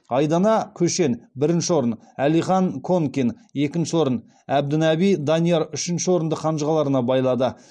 айдана көшен бірінші орын алихан конкин екінші орын әбдінаби данияр үшінші орынды қанжығаларына байлады